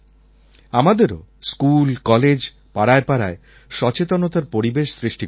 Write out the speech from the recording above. আমাদেরও school college পাড়ায়পাড়ায় সচেতনতার পরিবেশ সৃষ্টি করতে হবে